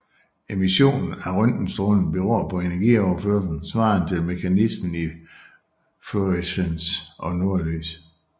Emissionen af røntgenstråling beror på energioverførsel svarende til mekanismen i fluorescens og nordlys